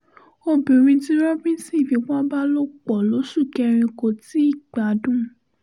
obìnrin tí robbinson fipá bá lò pọ̀ lóṣù kẹrin kò tí ì gbádùn